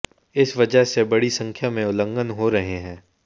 इस वजह से बड़ी संख्या में उल्लंघन हो रहे हैं